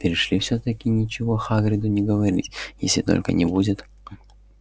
перешли всё-таки ничего хагриду не говорить если только не будет